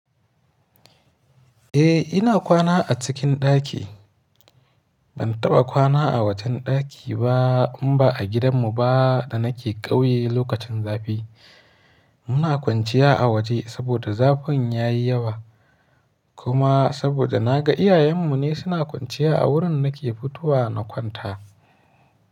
Eh ina kwana a cikin ɗaki. Ban taɓa kwana a wajen ɗaki ba in ba a gidanmu ba da nake ƙauye lokacin zafi. Muna kwanciya a waje saboda zafin yayi yawa. Kuma saboda na ga iyayenmu ne suna kwanciya a wurin nake fitowa na kwanta.